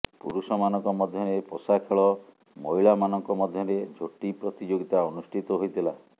ପୁରୁଷମାନଙ୍କ ମଧ୍ୟରେ ପଶା ଖେଳ ମହିଳାମାନଙ୍କ ମଧ୍ୟରେ ଝୋଟି ପ୍ରତିଯୋଗିତା ଅନୁଷ୍ଠିତ ହୋଇଥିଲା